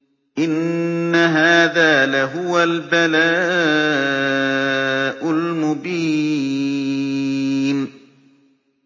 إِنَّ هَٰذَا لَهُوَ الْبَلَاءُ الْمُبِينُ